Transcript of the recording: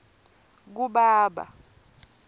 kubaba